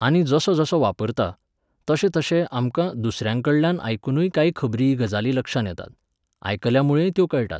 आनी जसो जसो वापरता, तशें तशें आमकां दुसऱ्यांकडल्यान आयकूनय काय खबरी गजाली लक्षांत येतात. आयकल्यामुळेंय त्यो कळटात.